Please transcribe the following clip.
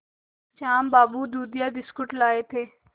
श्याम बाबू दूधिया बिस्कुट लाए थे